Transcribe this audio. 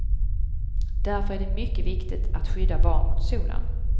Därför är det mycket viktigt att skydda barn mot solen.